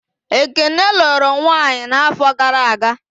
Ekene lụrụ nwanyị n'áfọ̀ gara aga.